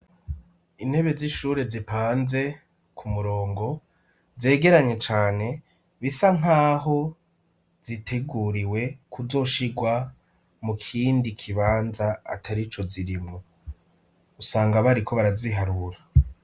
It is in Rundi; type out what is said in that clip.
Intebe z'ishure zipanze ku murongo zegeranye cane bisa nkaho ziteguriwe kuzoshigwa mu kindi kibanza atari ico zirimwo, usanga bariko baraziharura.